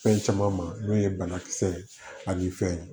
Fɛn caman ma n'o ye banakisɛ ye ani fɛn ye